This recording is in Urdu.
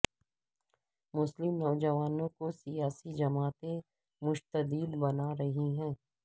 مسلم نوجوانوں کو سیاسی جماعتیں متشدد بنا رہی ہیں